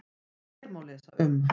Hér má lesa um